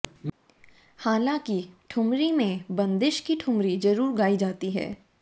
हालांकि ठुमरी में बंदिश की ठुमरी जरूर गायी जाती हैं